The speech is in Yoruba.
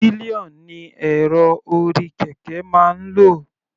Pillion ni èrò orí kẹ̀kẹ́ máa ń lò.